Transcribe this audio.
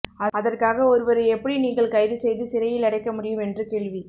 அதற்காக ஒருவரை எப்படி நீங்கள் கைது செய்து சிறையில் அடைக்க முடியும் என்று கேள்வி